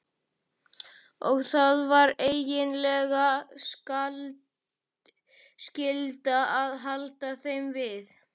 Og það er eiginlega skylda að halda þeim við.